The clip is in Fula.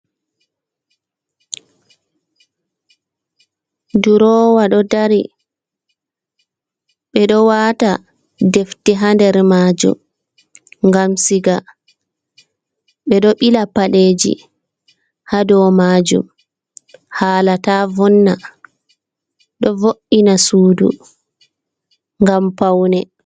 Durowa ɗo dari, ɓe ɗo wata defte ha nder majum ngam siga, ɓe ɗo ɓila paɗeji ha dou majum hala ta vonna, ɗo vo’ina sudu ngam paune.